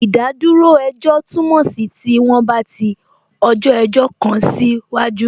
Ìdádúró ejọ́ túmọ̀ sí tí wọ́n bá ti ọjọ́ ẹjọ́ kan sí waju